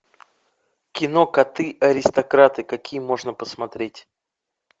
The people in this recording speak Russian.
кино коты аристократы какие можно посмотреть